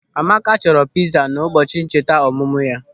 Amaka chọrọ pịza n'ụbọchị ncheta ọmụmụ ya.